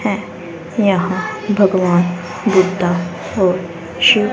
है यहां भगवान दिखता है शिव--